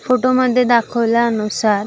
photo मध्ये दाखवल्यानुसार--